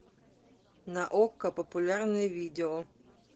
на окко популярные видео